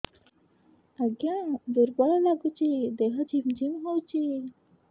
ଆଜ୍ଞା ଦୁର୍ବଳ ଲାଗୁଚି ଦେହ ଝିମଝିମ ହଉଛି